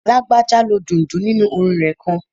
Lágbájá lo dundun nínu orin rẹ̀ kan